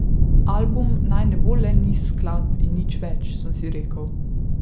Album naj ne bo le niz skladb in nič več, sem si rekel.